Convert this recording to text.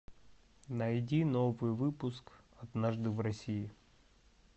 найди новый выпуск однажды в россии